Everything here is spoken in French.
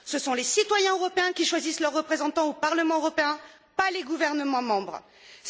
Ce sont les citoyens européens qui choisissent leurs représentants au Parlement européen, pas les gouvernements des États membres.